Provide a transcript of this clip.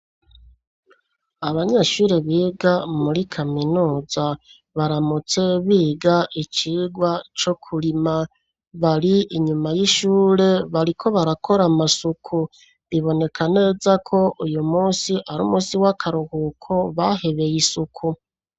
Abanyeshure, biga muri kaminuza, baramutse biga icigwa co kurima; bari inyuma y'ishure, bariko barakora amasuku; biboneka neza ko, uyu munsi, ari umunsi w'akaruhuko, bahebeye isuku.